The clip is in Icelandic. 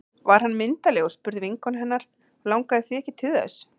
Var hann myndarlegur? spurði vinkona hennar Langaði þig ekki til þess?